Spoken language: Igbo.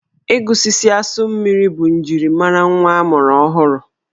Ịgụsisi asụ mmiri bụ njirimara nwa a mụrụ ọhụrụ.